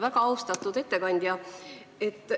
Väga austatud ettekandja!